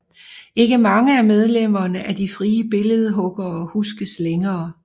Ikke mange af medlemmerne af De frie Billedhuggere huskes længere